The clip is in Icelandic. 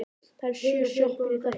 Það eru sjö sjoppur í þorpinu!